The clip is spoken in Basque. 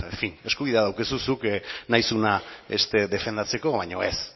eskubidea daukazu zuk nahi duzuna beste defendatzeko baino ez